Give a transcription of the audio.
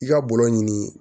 I ka bɔlɔlɔ ɲini